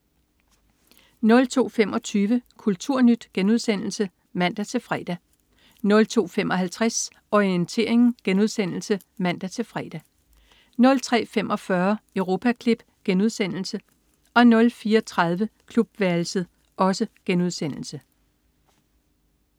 02.25 Kulturnyt* (man-fre) 02.55 Orientering* (man-fre) 03.45 Europaklip* 04.30 Klubværelset*